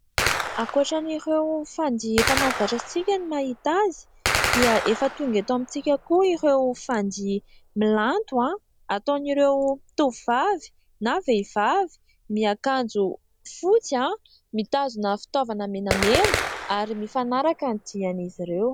Ankoatran'ireo fandihy efa mahazatra antsika ny mahita azy, dia efa tonga eto amintsika koa ireo fandihy milanto ataon'ireo tovovavy na vehivavy miakanjo fotsy, mitazona fitaovana menamena ary mifanaraka amin'ny dihin'izy ireo.